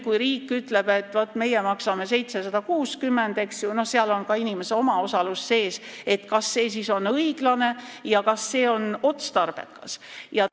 Kui riik nüüd ütleb, et meie maksame 760 – no seal on ka inimese omaosalus sees –, kas see siis on õiglane ja kas see on otstarbekas?